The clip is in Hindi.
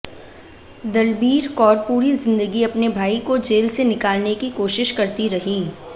दलबीर कौर पूरी जिंदगी अपने भाई को जेल से निकालने की कोशिश करती रहीं